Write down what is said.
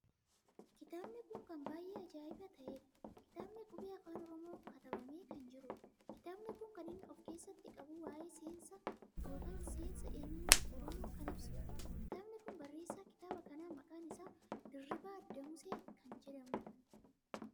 Kitaabni kun kan baay'ee ajaa'iba taheedha!kitaabni qubee Afaan Oromoo katabamee kan jiruudha. kitaabni kun kan inni of keessatti qabu waa'ee seensa eenyummaa Oromoo kan ibasuudadha. kitaabni kun barreessa kitaaba kanaa maqaan isaa Dirribii Damusee kan jedhamuudha.